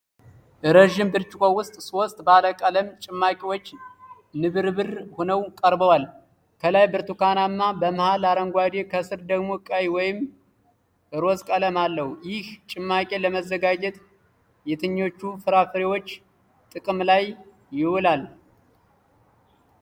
ረዥም ብርጭቆ ውስጥ ሶስት ባለ ቀለም ጭማቂዎች ንብርብር ሆነው ቀርበዋል። ከላይ ብርቱካናማ፣ በመሃል አረንጓዴ፣ ከስር ደግሞ ቀይ ወይም ሮዝ ቀለም አለው። ይህ ጭማቂ ለመዘጋጀት የትኞቹ ፍራፍሬዎች ጥቅም ላይ ይውላል?